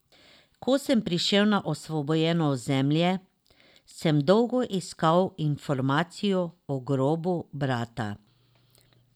Ko sem prišel na osvobojeno ozemlje, sem dolgo iskal informacijo o grobu brata.